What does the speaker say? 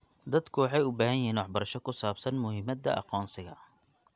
Dadku waxay u baahan yihiin waxbarasho ku saabsan muhiimada aqoonsiga.